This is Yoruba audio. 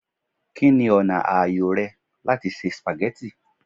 Kini ọna aayo rẹ lati ṣe spaghetti?